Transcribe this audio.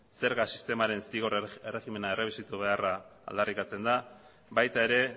zerga sistemaren zigor erregimena errebisatu beharra aldarrikatzen da baita ere